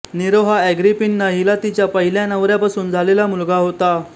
Nero हा Agrippina हिला तिच्या पहिल्या नवऱ्यापासून झालेला मुलगा होता